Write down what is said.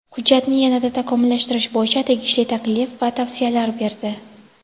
hujjatni yana-da takomillashtirish bo‘yicha tegishli taklif va tavsiyalar berdi.